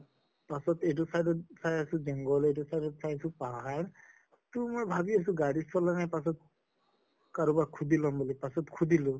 পাছত এইটো side ত চাই আছো জঙ্ঘল এইটো side ত চাই আছো পাহাৰ তো মই ভাবি আছো গাড়ী চলা নাই পাছত কাৰোবাক সুধি লম বুলি পাছত সুধিলো